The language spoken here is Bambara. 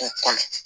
K'o kɔnɔ